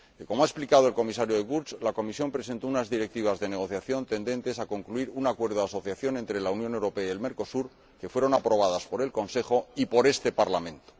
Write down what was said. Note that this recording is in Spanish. Como ha explicado el Comisario De Gucht, la Comisión presentó unas directivas de negociación tendentes a concluir un acuerdo de asociación entre la Unión Europea y Mercosur, que fueron aprobadas por el Consejo y por este Parlamento.